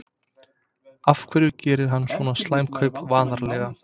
Af hverju gerir hann svona slæm kaup varnarlega?